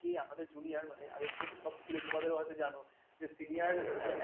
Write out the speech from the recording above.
কে আমাদের junior মানে আগে কী হতো সব স্কুল তোমাদের হয়তো জানো যে senior